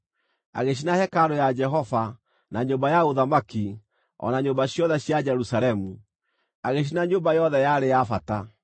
Agĩcina hekarũ ya Jehova, na nyũmba ya ũthamaki, o na nyũmba ciothe cia Jerusalemu. Agĩcina nyũmba yothe yarĩ ya bata.